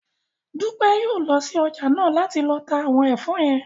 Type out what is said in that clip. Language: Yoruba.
Dúpẹ́ yóò lọ sí ọjà náà láti lọ ta àwọn ẹ̀fọ́ yẹn